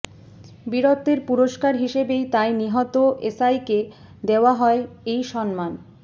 বীরত্বের পুরস্কার হিসাবেই তাই নিহত এসাইকে দেওয়া হয় এই সম্মান